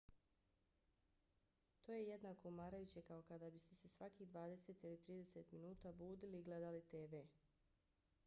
to je jednako umarajuće kao kada biste se svakih dvadeset ili trideset minuta budili i gledali tv